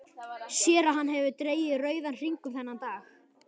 Sér að hann hefur dregið rauðan hring um þennan dag.